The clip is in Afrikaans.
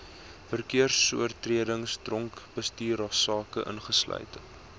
verkeersoortredings dronkbestuursake ingesluit